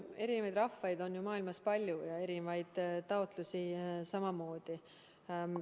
Erinevaid rahvaid on maailmas palju ja erinevaid taotlusi samamoodi.